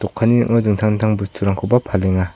ning·o dingtang dingtang bosturangkoba palenga.